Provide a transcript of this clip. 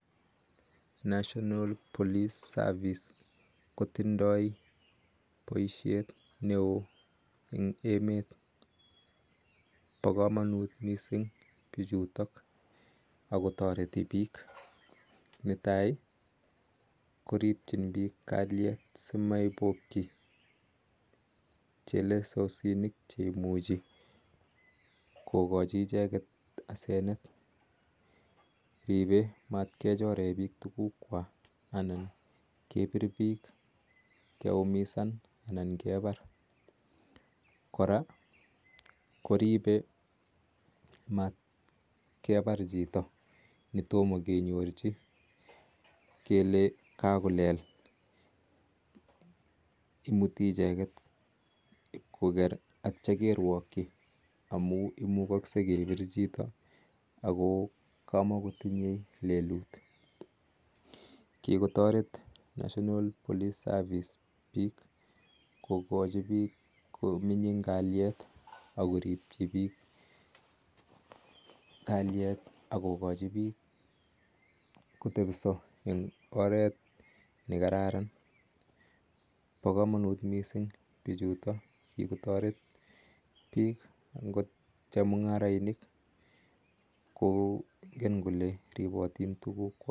National police seervice kotindai poisheet neo missing amun netaii koripee kalyeet simatkechoree piik tuguuk kwak koraa koripee matkepar chhito netoma kenyorchii kolee kakolel amun imuchee kepir chito akotoma koaii leluut pakamanuut pichutook missing kikotaret chemungaraisheek chechaang neaa